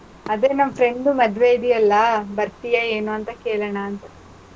ಅದೇ ನಮ್ friend ಮದ್ವೆ ಇದೆಯಲ್ಲಾ, ಬರ್ತೀಯಾ ಏನೂಂತ ಕೆಳಣಾಂತ.